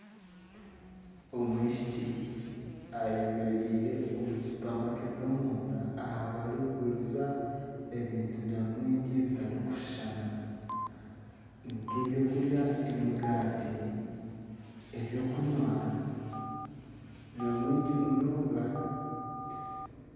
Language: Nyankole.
Omwishiki ayemereire omu supermarket omunda ahu barikuguriza ebintu nyamwingi bitarikushushana nka ebyokurya emigaati, ebyokunywa nyamwingi munonga.